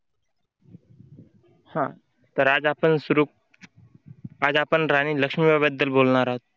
हा तर आज आपण सुरू आज आपण राणी लक्ष्मीबाई बद्दल बोलणार आहोत.